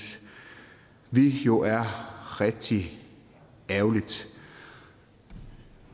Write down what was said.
vi jo er rigtig ærgerligt